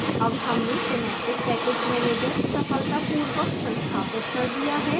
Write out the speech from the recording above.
अब हमने synaptic package manager सफलतापूर्वक संस्थापित कर दिया है